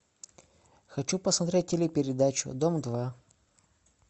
хочу посмотреть телепередачу дом два